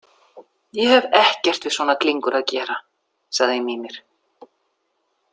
Ég hef ekkert við svona glingur að gera, sagði Mímir.